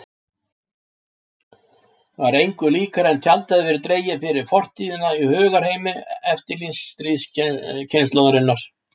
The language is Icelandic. Var engu líkara en tjald hefði verið dregið fyrir fortíðina í hugarheimi eftirstríðskynslóðarinnar.